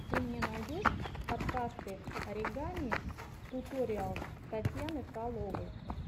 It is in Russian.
ты мне найдешь подкасты оригами туториалс татьяны фроловой